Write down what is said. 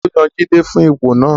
Taló yan Jide fún ipò náà?